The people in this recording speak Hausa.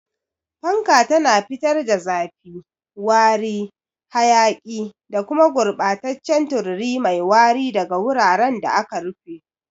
Fanka tana fitar da zafi, wari, hayaki, da kuma gurɓataccen tururi mai wari daga wuraren da aka rufe.